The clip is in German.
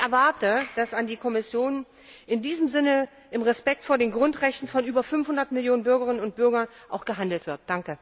Ich erwarte, dass dies an die Kommission in diesem Sinne im Respekt vor den Grundrechten von über 500 Millionen Bürgerinnen und Bürgern auch gehandelt wird!